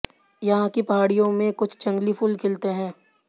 यहाँ की पहाड़ियों में कुछ जंगली फूल खिलते हैं